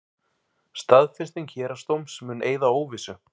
Staðfesting héraðsdóms mun eyða óvissu